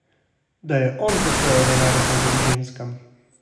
Da je on posojal denar ubogim ženskam!